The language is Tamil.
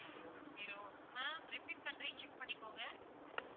two zero ma'am repeat பண்றேன் check பண்ணிக்கோங்க